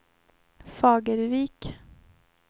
Fagervik